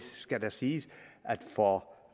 skal da siges at for